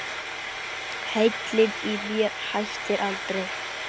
Heilinn í mér hættir aldrei.